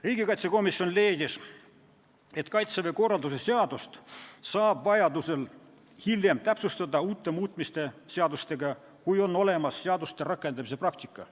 Riigikaitsekomisjon leidis, et Kaitseväe korralduse seadust saab vajaduse korral hiljem täpsustada uute muutmiste seadustega, kui on olemas seaduste rakendamise praktika.